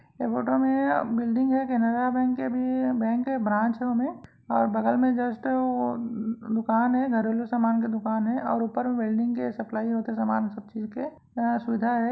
ऐ फोटो में बिल्डिंग हे केनेरा बैंक के भी बैंक हे ब्रांच हे ओमे और बगल में जस्ट अम्म्मम्म दुकान हे घरेलु सामान के दुकान हे और ऊपर में वेल्डिंग के सप्लाई का सामान सब चीज के सुविधा हे।